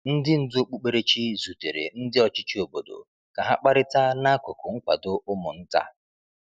Ndị ndú okpukperechi zutere ndị ọchịchị obodo ka ha kparịta n’akụkụ nkwado ụmụ nta.